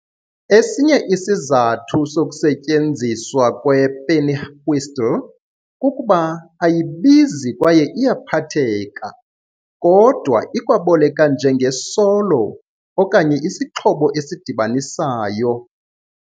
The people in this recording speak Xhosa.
Esinye isizathu sokusetyenziswa kwepennywhistle kukuba ayibizi kwaye iyaphatheka, kodwa ikwaboleka njenge solo okanye isixhobo esidibanisayo.